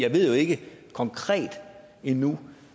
ved jo ikke konkret endnu